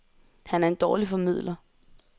Han er en dårlig formidler.